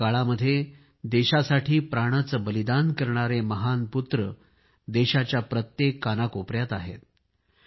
या काळामध्ये देशासाठी प्राणाचे बलिदान करणारे महान पुत्र देशाच्या प्रत्येक कानाकोपयात आहेत